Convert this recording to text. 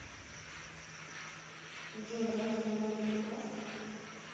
джой разве она не прекрасна